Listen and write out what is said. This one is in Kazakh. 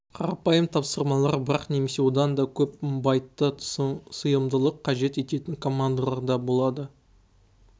қарапайым тапсырмалар бірақ немесе одан да көп байтты сыйымдылықты қажет ететін командалар да болады